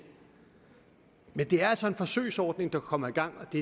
men det er altså en forsøgsordning der kommer i gang og det